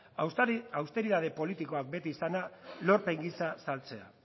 austeritate politikoa beti izana lorpen gisa saltzea